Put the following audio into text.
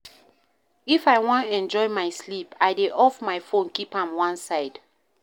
If I wan enjoy my sleep, I dey off my fone keep am one side.